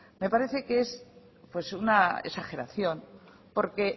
me parece que es una exageración porque